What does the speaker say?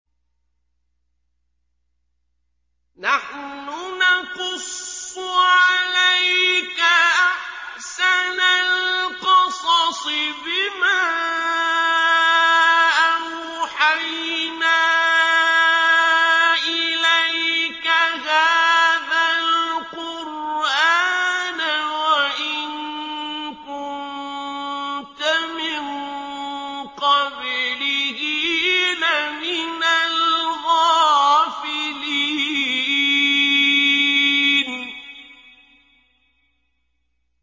نَحْنُ نَقُصُّ عَلَيْكَ أَحْسَنَ الْقَصَصِ بِمَا أَوْحَيْنَا إِلَيْكَ هَٰذَا الْقُرْآنَ وَإِن كُنتَ مِن قَبْلِهِ لَمِنَ الْغَافِلِينَ